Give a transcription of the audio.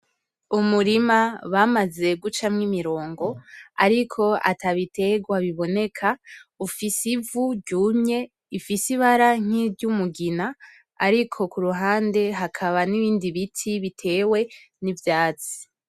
Umurima bamaze gucamwo imirongo ariko atabiterwa biboneka ufise ivu ryumye, ifise Ibara nkiry'umugina ariko kuruhande hakaba n'ibindi biti bitewe n'ivyatsi.